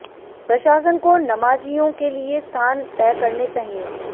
प्रशासन को नमाजियों के लिए स्थान तय करने चाहिए